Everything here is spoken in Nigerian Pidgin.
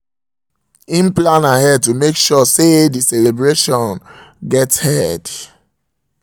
he plan um ahead to make sure um say the say the celebration get um head